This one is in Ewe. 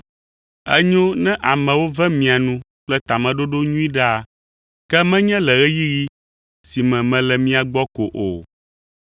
Enyo ne amewo ve mia nu kple tameɖoɖo nyui ɖaa, ke menye le ɣeyiɣi si me mele mia gbɔ ko o.